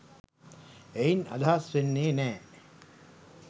එයින් අදහස් වෙන්නේ නෑ